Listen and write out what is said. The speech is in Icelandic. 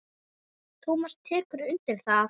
Tómas tekur undir það.